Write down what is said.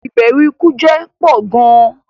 Ìbèrù ikú jẹ pọ̀ gàn